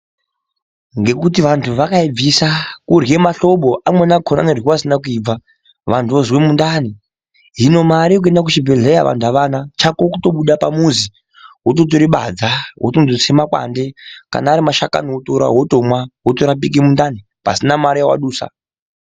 Ngekuti vantu vakaibvisa kurya mahlobo amweni acho anoryiwa asina kubva vantu vozwa mundani hino mare yekuenda kuchibhedhlera vantu avana chako kutobuda pamuzi wototora badza wondotse makwande kana asi mashakani wototora wotorapika mundani pasina mari yawadusa.